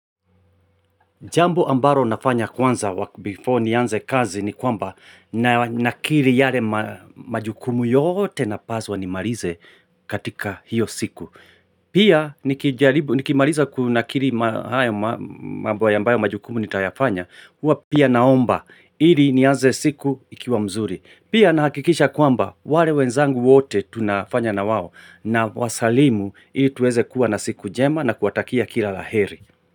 Jambo ambalo nafanya kwanza before nianze kazi ni kwamba nakiri yale majukumu yote napaswa nimalize katika hiyo siku. Pia nikimaliza kunakiri hayo mambo ya ambayo majukumu nitayafanya, huwa pia naomba ili nianze siku ikiwa mzuri. Pia nahakikisha kwamba wale wenzangu wote tunafanya na wao nawasalimu ili tuweze kuwa na siku njema na kuwatakia kila la heri.